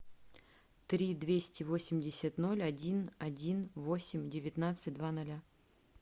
три двести восемьдесят ноль один один восемь девятнадцать два ноля